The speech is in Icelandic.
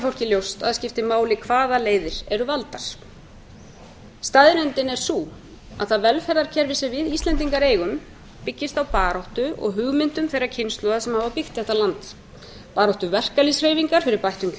fólki ljóst að það skipti máli hvaða leiðir eru valdar staðreyndin er sú að það velferðarkerfi sem við íslendingar eigum byggist á baráttu og hugmyndum þeirra kynslóða sem hafa byggt þetta land baráttu verkalýðshreyfingar fyrir bættum